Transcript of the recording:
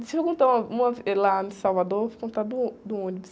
Deixa eu contar uma, uma ve... Eh, lá em Salvador, vou contar do ô, do ônibus.